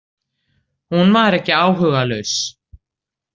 Hún var ekki áhugalaus.